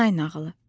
Nanay nağılı.